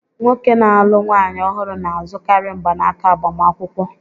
Nwoke na-alụ nwaanyị ọhụrụ na-azụkarị mgbanaka agbamakwụkwọ